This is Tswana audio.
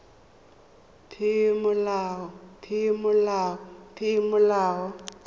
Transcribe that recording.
peomolao